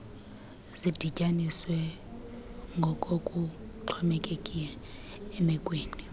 zidityaniswe ngokokuxhomekeke emekweni